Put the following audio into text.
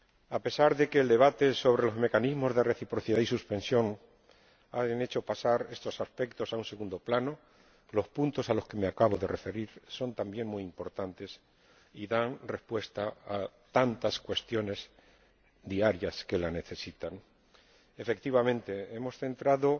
A pesar de que el debate sobre los mecanismos de reciprocidad y suspensión haya hecho pasar estos aspectos a un segundo plano, los puntos a los que me acabo de referir son también muy importantes y dan respuesta a tantas cuestiones diarias que la necesitan. Efectivamente, hemos centrado